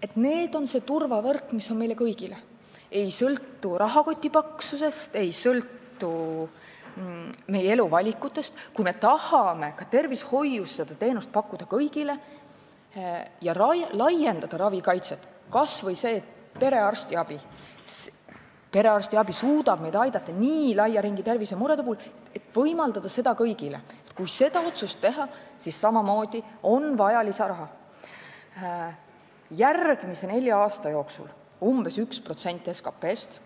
on turvavõrk, mis on meil kõigil, see ei sõltu rahakoti paksusest ega meie eluvalikutest, ja kui me tahame tervishoiuteenust pakkuda kõigile ja laiendada ravikaitset, kas või nii, et perearstiabi, mis suudab aidata laia ringi tervisemurede puhul, võimaldatakse kõigile, kui me selle otsuse teeme, siis on samamoodi vaja lisaraha, järgmise nelja aasta jooksul umbes 1% SKP-st.